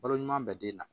Balo ɲuman bɛ den na